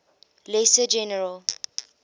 lesser general